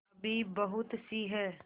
अभी बहुतसी हैं